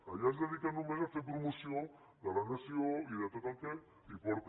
allà es dediquen només a fer promoció de la nació i de tot el que hi porta